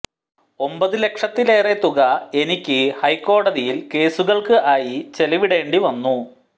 ഒമ്പത് ലക്ഷത്തിലേറെ തുക എനിക്ക് ഹൈക്കോടതിയിൽ കേസുകൾക്ക് ആയി ചെലവിടേണ്ടി വന്നു